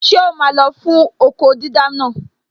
Ṣé o máa lọ fún okó dídá naa?